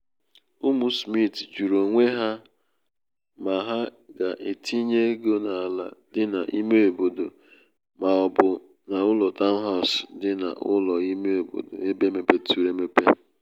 ụmụ smith jụrụ onwe ha ma ha ga-etinye ego n’ala dị n’ime obodo ma ọ bụ um n’ụlọ taụnhas dị n’ụlọ ime obodo ebe mepeturu emepe